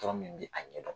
Tɔɔrɔ min bɛ a ɲɛ dɔn